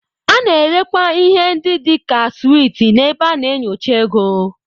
A na-erekwa ihe ndị dị ka sweets n'ebe a na-enyocha ego.